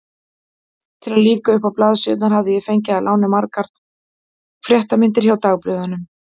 Til að lífga uppá blaðsíðurnar hafði ég fengið að láni gamlar fréttamyndir hjá dagblöðunum.